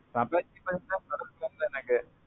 நான் apache அப்பறோம் மாத்த தோணல எனக்கு.